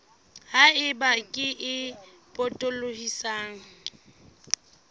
ha eba kere e potolohisang